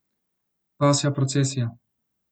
Pasja procesija.